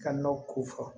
Ka nɔ ko fɔ